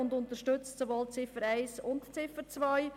Sie unterstützt deshalb sowohl Ziffer 1 als auch Ziffer 2.